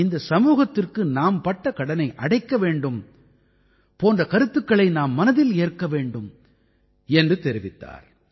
இந்தச் சமூகத்திற்கு நாம் பட்ட கடனை அடைக்க வேண்டும் போன்ற கருத்துக்களை நாம் மனதில் ஏற்க வேண்டும் என்று தெரிவித்தார்